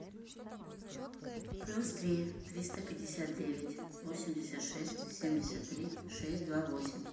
плюс три триста пятьдесят девять восемьдесят шесть семьдесят три шесть два восемь